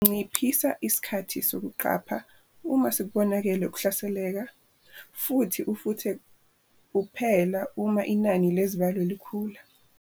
Nciphisa isikhathi sokuqapha uma sekubonakele ukuhlaseleka futhi ufuthe kuphela uma inani lezibalo likhula.